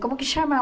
Como que chama?